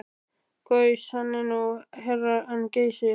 Gaus hann nú hærra en Geysir.